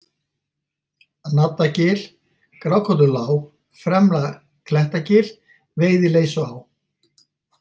Naddagil, Grákollulág, Fremra-Klettagil, Veiðileysuá